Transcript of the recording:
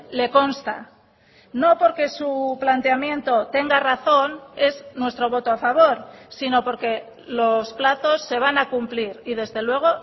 le consta no porque su planteamiento tenga razón es nuestro voto a favor sino porque los plazos se van a cumplir y desde luego